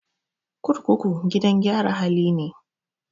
Kurkuku gidan gyara hali ne.